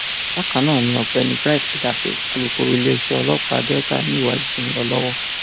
bákan náà ni ọgbẹni bright edafẹ alukoro iléeṣẹ ọlọpàá delta ni ìwádìí ṣì ń lọ lọwọ